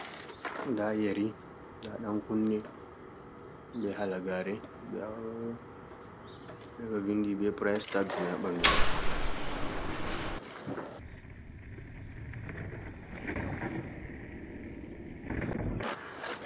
Nɗa yeri, nɗa yen kunne, ɓe halagare. Nɗa ɓeɗo vinɗi ɓe purais tass mai ha ɓanɗumai.